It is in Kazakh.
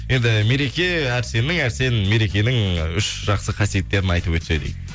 енді мереке әрсеннің әрсен мерекенің үш жақсы қасиеттерін айтып өтсе дейді